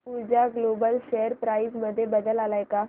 ऊर्जा global share price मध्ये बदल आलाय का